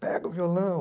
Pega o violão.